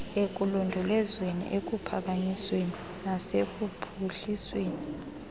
ekulondolozweni ekuphakanyisweni nasekuphuhlisweni